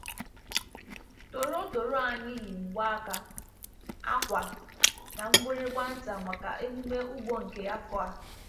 Toro toro anyị yi mgbaaka, akwa, na mgbịrịgba nta maka emume ugbo nke afọ a.